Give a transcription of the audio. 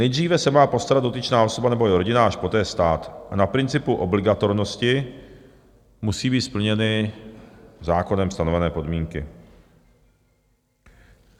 Nejdříve se má postarat dotyčná osoba nebo i rodina, až poté stát, a na principu obligatornosti musí být splněny zákonem stanovené podmínky.